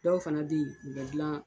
Dɔw fana bɛ ye u bɛ gilan